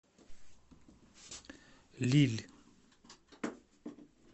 лилль